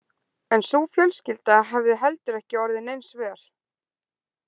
En sú fjölskylda hafði heldur ekki orðið neins vör.